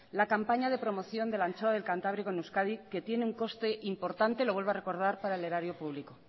la campaña de promoción de la anchoa del cantábrico en euskadi que tiene un coste importante lo vuelvo a recordar para el erario público